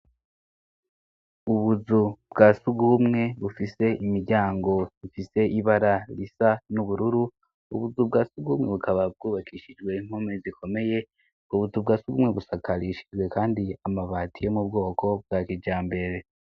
Ubuzu bwa sugumwe bufise imiryango ifise ibara risa n'ubururu, ubuzu bwa sugumwe bukaba bwubakishijwe impome zikomeye, ku buzu bwa sugumwe busakarishijwe kandi amabati yo mu bwoko bwa kijambere.